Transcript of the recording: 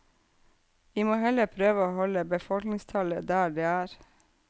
Vi må heller prøve å holde befolkningstallet der det er.